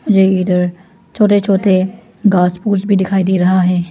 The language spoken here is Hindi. ये इधर छोटे छोटे घास फूस भी दिखाई दे रहा है।